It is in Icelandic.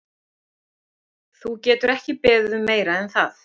Þú getur ekki beðið um meira en það.